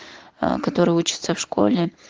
аа которая учится в школе